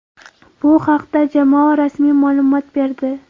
Bu haqda jamoa rasmiy ma’lumot berdi.